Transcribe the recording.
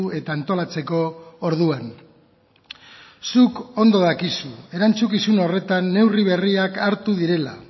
eta antolatzeko orduan zuk ondo dakizu erantzukizun horretan neurri berriak hartu direla